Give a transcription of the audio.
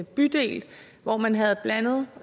bydel hvor man havde blandet